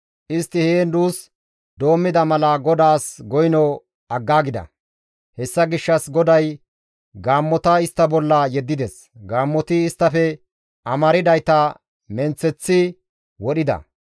Istti heen duus doommida mala GODAAS goyno aggaagida; hessa gishshas GODAY gaammota istta bolla yeddides; gaammoti isttafe amardayta menththereththi wodhida.